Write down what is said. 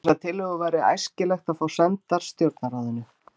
Þessar tillögur væri æskilegt að fá sendar stjórnarráðinu.